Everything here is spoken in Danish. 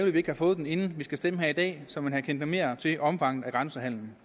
at vi ikke har fået den inden vi skal stemme her i dag så man havde kendt noget mere til omfanget af grænsehandelen